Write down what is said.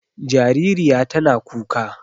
Jaririya tana kuka.